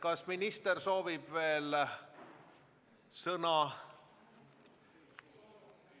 Kas minister soovib veel sõna?